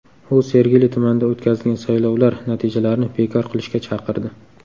U Sergeli tumanida o‘tkazilgan saylovlar natijalarini bekor qilishga chaqirdi.